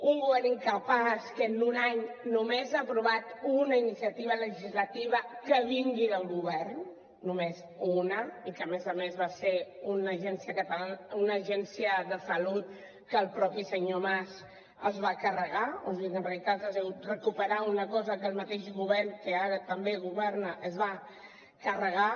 un govern incapaç que en un any només ha aprovat una iniciativa legislativa que vingui del govern només una i que a més a més va ser una agència de salut que el mateix senyor mas es va carregar o sigui que en realitat ha sigut recuperar una cosa que el mateix govern que ara també governa es va carregar